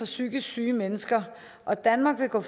psykisk syge mennesker og danmark vil gå